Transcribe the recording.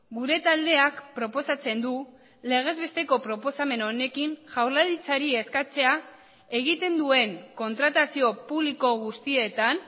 gure taldeak proposatzen du legez besteko proposamen honekin jaurlaritzari eskatzea egiten duen kontratazio publiko guztietan